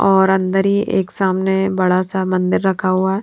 और अंदर ही एक सामने बड़ा सा मंदिर रखा हुआ है।